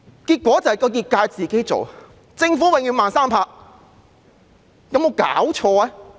結果是，業界要自行處理，政府永遠"慢三拍"，有沒有搞錯？